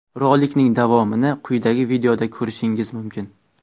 Rolikning davomini quyidagi videoda ko‘rishingiz mumkin.